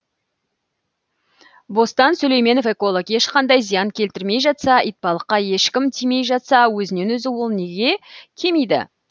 бостан сүлейменов эколог ешқандай зиян келтірілмей жатса итбалыққа ешкім тимей жатса өзінен өзі ол неге кемиді